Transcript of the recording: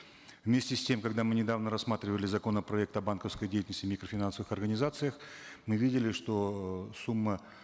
вместе с тем когда мы недавно рассматривали законопроект о банковской деятельности и микрофинансовых организациях мы видели что э сумма